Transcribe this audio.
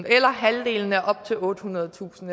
eller halvdelen af op til ottehundredetusind